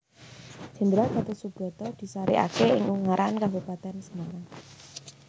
Jenderal Gatot Soebroto disarekake ing Ungaran Kabupatèn Semarang